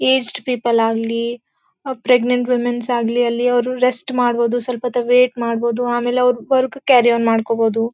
East people ಆಗ್ಲಿ oh pregnant womens ಆಗ್ಲಿ ಅಲ್ಲಿ ಅವರು ರೆಸ್ಟ್ ಮಾಡಬೋದು ಸ್ವಲ್ಪ ಹೊತ್ತು ವೇಟ್ ಮಾಡಬೋದು ಆಮೇಲೆ ಅವರು ವರ್ಕ್ ಕ್ಯಾರಿಯೋನ್ ಮಾಡ್ಕೊಬೋದು.